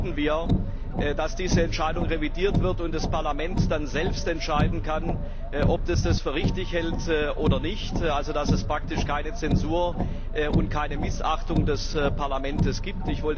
Deshalb bitten wir, dass diese Entscheidung revidiert wird und das Parlament dann selbst entscheiden kann, ob es dies für richtig hält oder nicht, also dass es praktisch keine Zensur und keine Missachtung des Parlaments gibt.